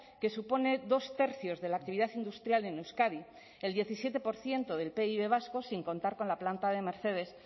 que supone dos tercios de la actividad industrial en euskadi el diecisiete por ciento del pib vasco sin contar con la planta de mercedes